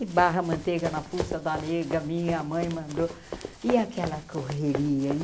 E Barra Manteiga, na fuça da nega, minha mãe mandou e aquela correria.